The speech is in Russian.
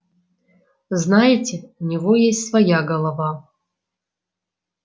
знаете у него есть своя голова